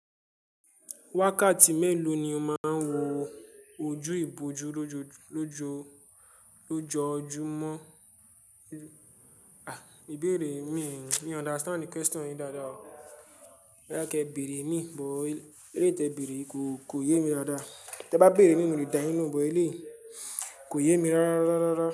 Wákàtí mélòó ni ó máa ń wo ojú ìbòjú lójoojúmọ́? Àh, ìbéèrè mí, mi o understand question yin dáadáa o. Bo ya kí ẹ bèèrè imi, bó eléèyi te bèèrè yi ko, ko yé mi dáadáa. Tẹ bá bèèrè imi mo le da yin lo hun but èlèyi, ko yé mi rárá rárá.